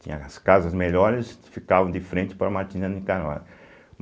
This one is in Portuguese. Tinha as casas melhores, ficavam de frente para Martina de Carvalho.